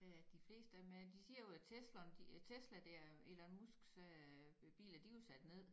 Ja de fleste er men de siger jo at Tesla Tesla dér Elon Musks øh biler de er jo sat ned